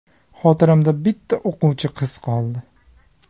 Xotiramda bitta o‘quvchi qiz qoldi.